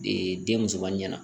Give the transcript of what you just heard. Ee den musoman ɲɛna